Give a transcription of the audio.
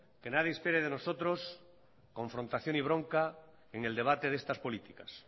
que nadie espere de nosotros confrontación y bronca en el debate de estas políticas